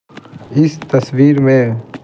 इस तस्वीर में--